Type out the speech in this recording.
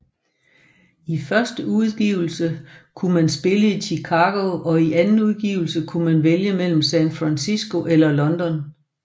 I første udgivelse kunne man spille i Chicago og i anden udgivelse kunne man vælge mellem San Francisco eller London